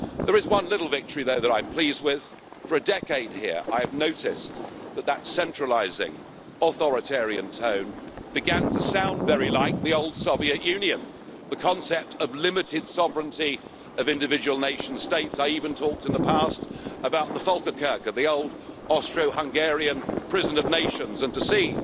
There is one little victory though that I'm pleased with. For a decade here I have noticed that that centralising authoritarian tone began to sound very like the old Soviet Union, with the concept of limited sovereignty of individual nation states. I have even talked in the past about the Volkerkerker' the old Austro Hungarian prison of nations, and to